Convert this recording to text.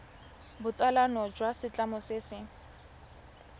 botsalano jwa setlamo se se